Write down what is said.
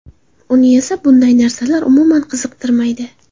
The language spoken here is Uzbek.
Uni esa bunday narsalar umuman qiziqtirmaydi.